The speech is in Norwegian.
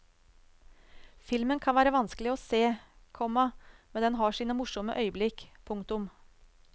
Filmen kan være vanskelig å se, komma men den har sine morsomme øyeblikk. punktum